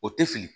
O tɛ fili